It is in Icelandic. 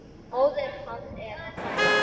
Móðir hans er sænsk.